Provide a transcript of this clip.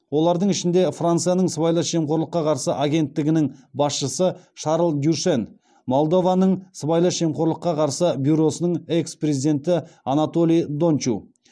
олардың ішінде францияның сыбайлас жемқорлыққа қарсы агенттігінің басшысы шарль дюшен молдованың сыбайлас жемқорлыққа қарсы бюросының экс президенті анатолий дончу